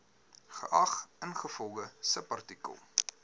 geag ingevolge subartikel